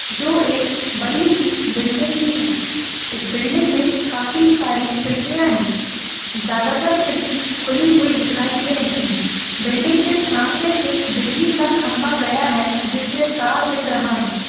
जो एक बड़ी सी बिल्डिंग की है इस बिल्डिंग मे काफी सारी खिड़किया है ज़्यादातर खिड़की खुली हुई दिखाई दे रही है बिल्डिंग के सामने से बिजली का खंबा गया हुआ है जिसमे तार दिख रहा है।